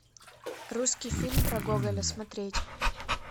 русский фильм про гоголя смотреть